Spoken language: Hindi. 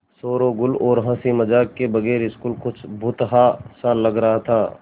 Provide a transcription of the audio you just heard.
शोरोगुल और हँसी मज़ाक के बगैर स्कूल कुछ भुतहा सा लग रहा था